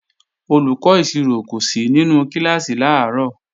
Olùkọ́ ìṣirò kò sí nínú kíláàsì làárọ̀